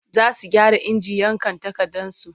Za su gyara injin yanka takardarsu.